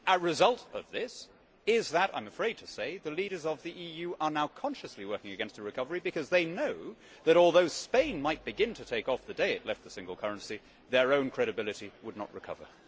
A result of this is that, I am afraid to say, the leaders of the EU are now consciously working against the recovery because they know that, although Spain might begin to take off the day it left the single currency, their own credibility would not recover.